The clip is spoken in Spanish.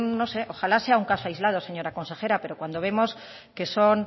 no sé ojalá sea un caso aislado señora consejera pero cuando vemos que son